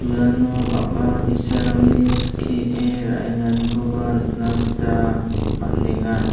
iano bang·a bi·sarangni skie ra·enganikoba nikna gita man·enga.